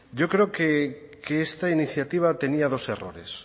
yo creo que esta iniciativa tenía dos errores